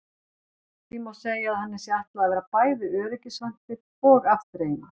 Því má segja að henni sé ætlað að vera bæði öryggisventill og afþreying.